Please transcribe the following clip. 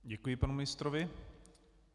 Děkuji panu ministrovi.